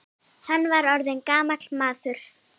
Hann er orðinn gamall maður.